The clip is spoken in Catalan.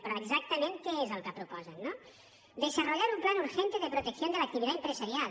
però exactament què és el que proposen no desarrollar un plan urgente de protección de la actividad empresarial